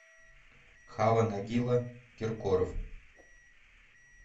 хава нагила киркоров